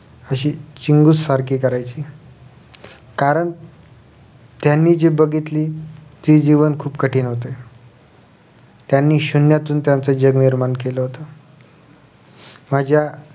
अशी चिगूस सारखी करायची कारण त्यांनी जी बघितली ते जीवन खुप कठीण होते त्यांनी शून्यातून त्यांचं जग निर्माण केलं माझ्या